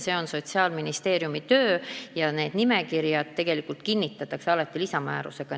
See on Sotsiaalministeeriumi töö ja need nimekirjad tegelikult kinnitatakse alati lisamäärusega.